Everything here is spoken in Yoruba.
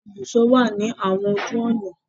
Ibùsọ̀ wà ní àwọn ojú ọ̀nà.